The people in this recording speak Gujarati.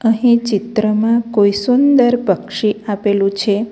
અહીં ચિત્રમાં કોઈ સુંદર પક્ષી આપેલું છે.